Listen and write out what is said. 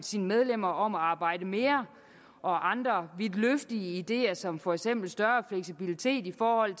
sine medlemmer om at arbejde mere og andre vidtløftige ideer som for eksempel større fleksibilitet i forhold